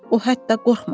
O hətta qorxmadı.